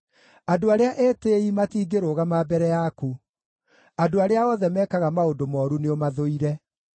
Andũ arĩa etĩĩi matingĩrũgama mbere yaku; andũ arĩa othe mekaga maũndũ mooru nĩũmathũire.